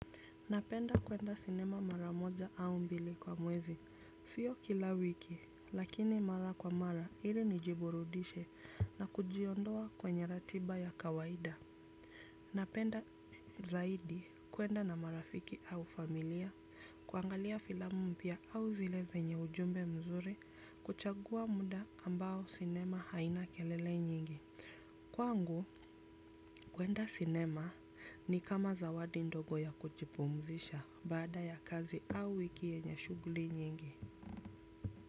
Napenda kwenda sinema maramoja au mbili kwa mwezi, sio kila wiki, lakini mara kwa mara ili nijiburudishe na kujiondoa kwenye ratiba ya kawaida. Napenda zaidi kwenda na marafiki au familia, kuangalia filamu mpia au zile zenye ujumbe mzuri, kuchagua muda ambao sinema haina kelele nyingi. Kwangu, kwenda sinema ni kama zawadi ndogo ya kuchipumzisha bada ya kazi au wiki enye shuguli nyingi.